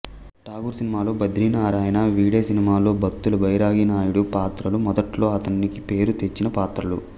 ఠాగూర్ సినిమాలో బద్రీ నారాయణ వీడే సినిమాలో బత్తుల బైరాగి నాయుడు పాత్రలు మొదట్లో అతనికి పేరు తెచ్చిన పాత్రలు